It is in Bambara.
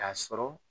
K'a sɔrɔ